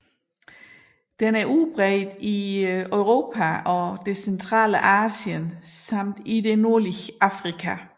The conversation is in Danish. Den er udbredt i Europa og det centrale Asien samt i det nordlige Afrika